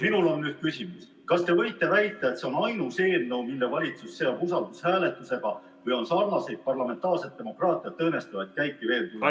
Minul on nüüd küsimus: kas te võite väita, et see on ainus eelnõu, mille valitsus seob usaldushääletusega, või on sarnaseid parlamentaarset demokraatiat õõnestavaid käike veel tulemas?